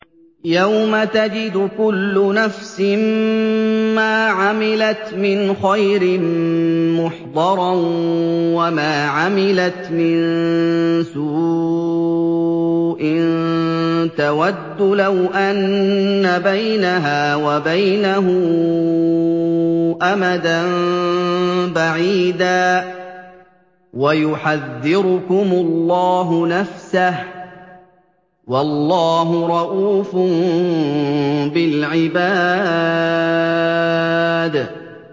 يَوْمَ تَجِدُ كُلُّ نَفْسٍ مَّا عَمِلَتْ مِنْ خَيْرٍ مُّحْضَرًا وَمَا عَمِلَتْ مِن سُوءٍ تَوَدُّ لَوْ أَنَّ بَيْنَهَا وَبَيْنَهُ أَمَدًا بَعِيدًا ۗ وَيُحَذِّرُكُمُ اللَّهُ نَفْسَهُ ۗ وَاللَّهُ رَءُوفٌ بِالْعِبَادِ